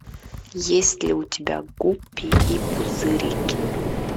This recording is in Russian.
есть ли у тебя гуппи и пузырики